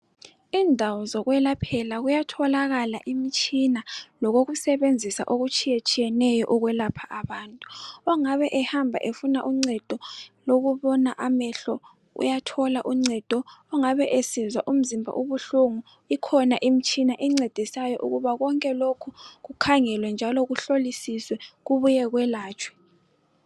Indawo zokwelaphela kuyatholakala imitshina lokokusebenzisa okutshiyetshiyeneyo okwelapha abantu ongabe ehamba efuna uncedo lokubona amehlo uyathola uncedo ongabe esizwa umzimba ubuhlungu ikhona imtshina encedisayo ukuba konke lokhu kukhangelwe kuhlilisisee kwelatshwe